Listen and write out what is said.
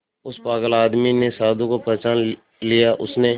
उस पागल आदमी ने साधु को पहचान लिया उसने